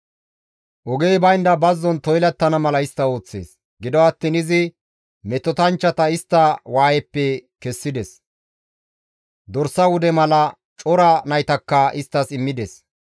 Gido attiin izi metotanchchata istta waayeppe kessides; dorsa wude mala cora naytakka isttas immides.